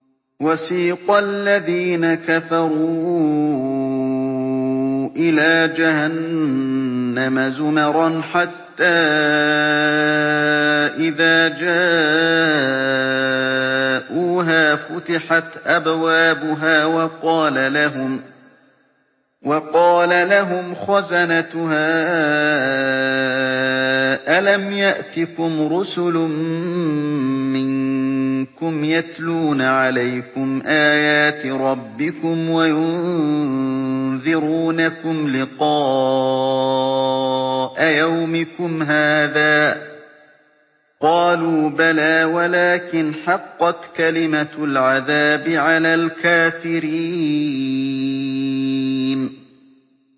وَسِيقَ الَّذِينَ كَفَرُوا إِلَىٰ جَهَنَّمَ زُمَرًا ۖ حَتَّىٰ إِذَا جَاءُوهَا فُتِحَتْ أَبْوَابُهَا وَقَالَ لَهُمْ خَزَنَتُهَا أَلَمْ يَأْتِكُمْ رُسُلٌ مِّنكُمْ يَتْلُونَ عَلَيْكُمْ آيَاتِ رَبِّكُمْ وَيُنذِرُونَكُمْ لِقَاءَ يَوْمِكُمْ هَٰذَا ۚ قَالُوا بَلَىٰ وَلَٰكِنْ حَقَّتْ كَلِمَةُ الْعَذَابِ عَلَى الْكَافِرِينَ